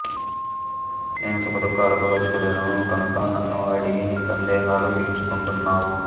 నేను సుఖదుఃఖాలకు అతీతుడను కనుక నన్ను అడిగి నీ సందేహాలు తీర్చుకుంటున్నావు